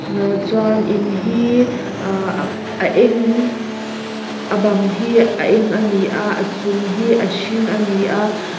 nga chuan in hi aah a eng a bang hi a eng ani a a chung hi a hring a ni a--